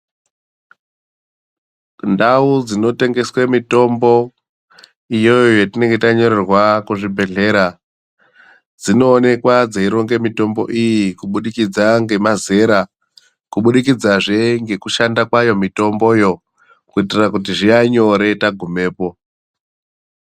Ndau dzinotengeswa mitombo iyoyo yatinenge tanyorerwa kuzvibhedhlera dzinoonekwa dzeironga mitombo iyi kubudikidza ngemazera kubudikidza Ngekushanda kwayo mitomboyo kuitira kuti zvive nyore tagumapo.